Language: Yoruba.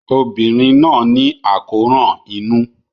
Obìnrin náà ní àkóràn inú.